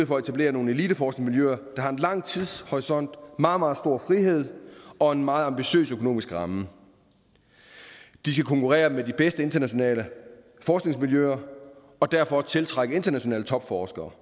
for at etablere nogle eliteforskningsmiljøer der har en lang tidshorisont meget meget stor frihed og en meget ambitiøs økonomisk ramme de skal konkurrere med de bedste internationale forskningsmiljøer og derfor tiltrække internationale topforskere